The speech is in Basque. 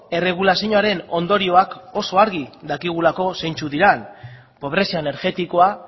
erregulazioaren ondorioak oso argi dakigulako zeintzuk diren pobrezia energetikoa